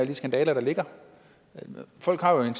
de skandaler der ligger folk har jo en